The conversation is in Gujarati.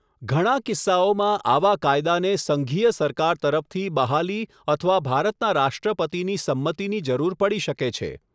ઘણા કિસ્સાઓમાં, આવા કાયદાને સંઘીય સરકાર તરફથી બહાલી અથવા ભારતના રાષ્ટ્રપતિની સંમતિની જરૂર પડી શકે છે.